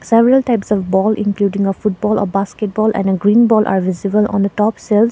several types of ball including a football a basketball and a green ball are visible on the top shelves.